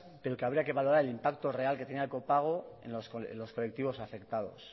pero que habría que valorar el impacto real que tenía el copago en los colectivos afectados